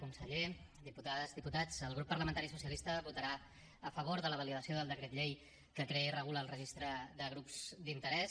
conseller diputades diputats el grup parlamentari socialista votarà a favor de la validació del decret llei que crea i regula el registre de grups d’interès